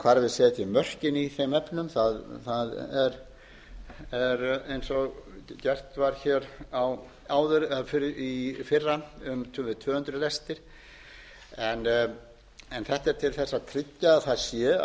hvar við setjum mörkin í þeim efnum er eins og gert var hér áður eða í fyrra um tvö hundruð lestir en þetta en til þess að